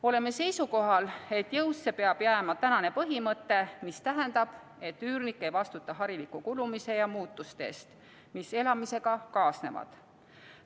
Oleme seisukohal, et jõusse peab jääma tänane põhimõte, mis tähendab, et üürnik ei vastuta hariliku kulumise ja muutuste eest, mis elamisega kaasnevad.